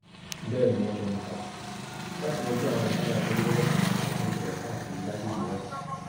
bẹẹ ni wọn fẹnu kọ láti yanjú àwọn wàhálà abẹlé lọlọkanòjọkan tó ń ṣẹlẹ káàkiri agbègbè náà